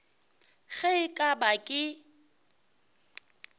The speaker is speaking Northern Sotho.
ge e ka ba ke